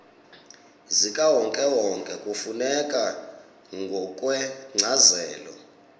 zikawonkewonke kufuneka ngokwencazelo